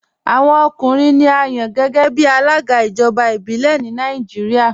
Awọn ọkùnrin ni à yàn géẹ̀bí alága ijọba ibilẹ̀ ni Nàìjíríà.